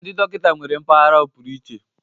ndị dọkịta nwere mpaghara ọpụrụiche